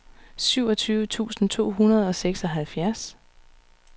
syvogtyve tusind to hundrede og seksoghalvfjerds